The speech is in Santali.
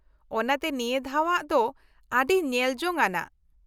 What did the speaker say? ᱚᱱᱟᱛᱮ ᱱᱤᱭᱟᱹ ᱫᱷᱟᱣᱟᱜ ᱫᱚ ᱟ.ᱰᱤ ᱧᱮᱞ ᱡᱚᱝ ᱟᱱᱟᱜ ᱾